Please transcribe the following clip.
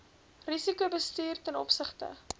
risikobestuur ten opsigte